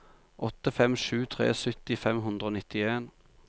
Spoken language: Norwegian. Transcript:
åtte fem sju tre sytti fem hundre og nittien